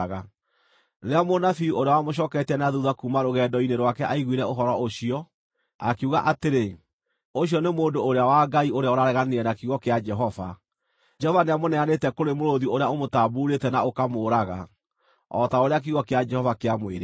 Rĩrĩa mũnabii ũrĩa wamũcooketie na thuutha kuuma rũgendo-inĩ rwake aiguire ũhoro ũcio, akiuga atĩrĩ, “Ũcio nĩ mũndũ ũrĩa wa Ngai ũrĩa ũrareganire na kiugo kĩa Jehova. Jehova nĩamũneanĩte kũrĩ mũrũũthi ũrĩa ũmũtambuurĩte na ũkaamũũraga, o ta ũrĩa kiugo kĩa Jehova kĩamwĩrĩte.”